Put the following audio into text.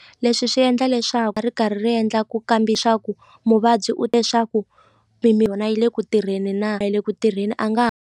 Leswi swi endla leswaku ri karhi ri endla ku kambi leswaku muvabyi u leswaku yona yi le ku tirheni na a yi le ku tirheni a nga ha.